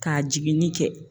K'a jiginni kɛ.